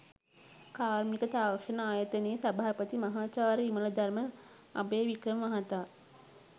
කාර්මික තාක්ෂණ ආයතනයේ සභාපති මහාචාර්ය විමලධර්ම අභයවික්‍රම මහතා